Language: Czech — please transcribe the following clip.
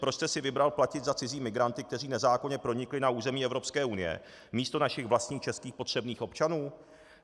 Proč jste si vybral platit za cizí migranty, kteří nezákonně pronikli na území Evropské unie, místo našich vlastních českých potřebných občanů?